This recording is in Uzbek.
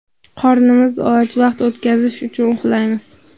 Qornimiz och, vaqt o‘tkazish uchun uxlaymiz.